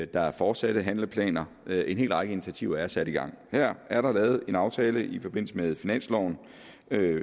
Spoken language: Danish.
der er fortsatte handleplaner en hel række initiativer er sat i gang her er der lavet en aftale i forbindelse med finansloven